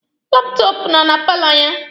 Laptọọpụ nọ na paalọ ya.